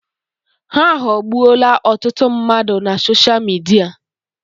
Ha aghọọgbuola ọtụtụ mmadụ na sosha Midia.